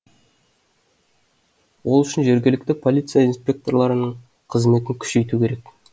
ол үшін жергілікті полиция инспекторларының қызметін күшейту керек